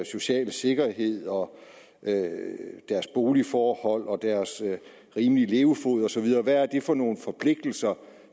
sociale sikkerhed og boligforhold og rimelige levefod og så videre hvad er det for nogle forpligtelser